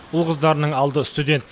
ұл қыздарының алды студент